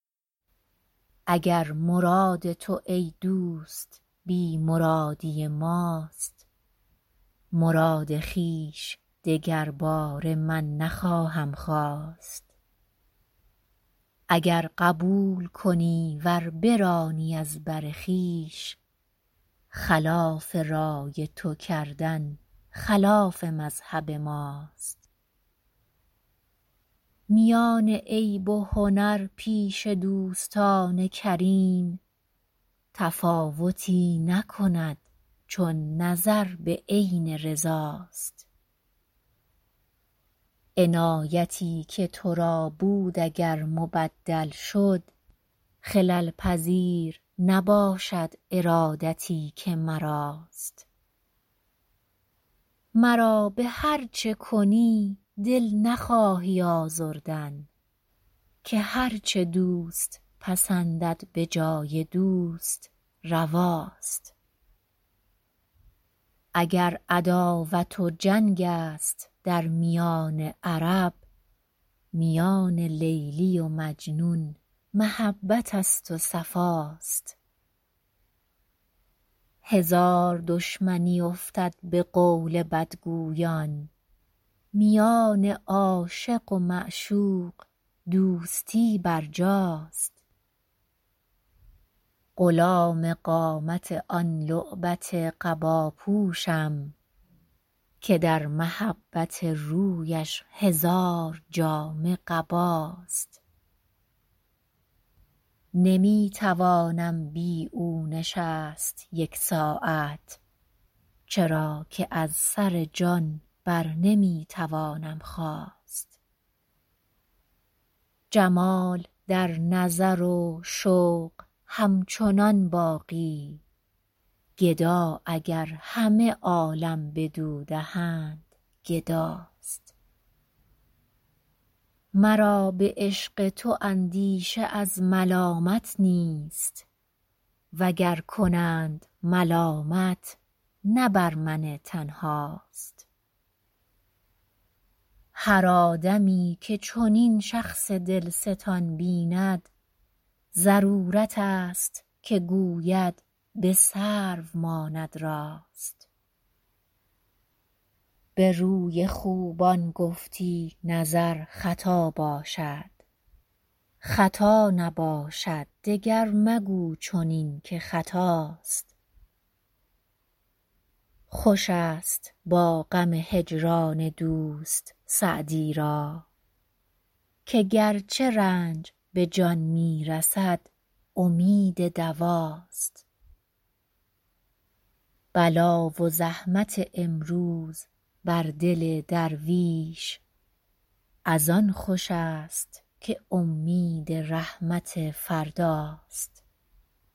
اگر مراد تو ای دوست بی مرادی ماست مراد خویش دگرباره من نخواهم خواست اگر قبول کنی ور برانی از بر خویش خلاف رای تو کردن خلاف مذهب ماست میان عیب و هنر پیش دوستان کریم تفاوتی نکند چون نظر به عین رضا ست عنایتی که تو را بود اگر مبدل شد خلل پذیر نباشد ارادتی که مراست مرا به هر چه کنی دل نخواهی آزردن که هر چه دوست پسندد به جای دوست روا ست اگر عداوت و جنگ است در میان عرب میان لیلی و مجنون محبت است و صفا ست هزار دشمنی افتد به قول بدگویان میان عاشق و معشوق دوستی برجاست غلام قامت آن لعبت قبا پوشم که در محبت رویش هزار جامه قباست نمی توانم بی او نشست یک ساعت چرا که از سر جان بر نمی توانم خاست جمال در نظر و شوق همچنان باقی گدا اگر همه عالم بدو دهند گدا ست مرا به عشق تو اندیشه از ملامت نیست و گر کنند ملامت نه بر من تنها ست هر آدمی که چنین شخص دل ستان بیند ضرورت است که گوید به سرو ماند راست به روی خوبان گفتی نظر خطا باشد خطا نباشد دیگر مگو چنین که خطاست خوش است با غم هجران دوست سعدی را که گرچه رنج به جان می رسد امید دوا ست بلا و زحمت امروز بر دل درویش از آن خوش است که امید رحمت فردا ست